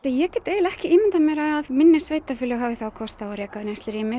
ég get ekki ímyndað mér að minni sveitarfélög hafi þá kost á að reka neyslurými